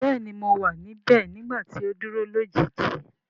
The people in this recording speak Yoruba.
Bẹẹni mo wa nibẹ nigbati o duro lojiji.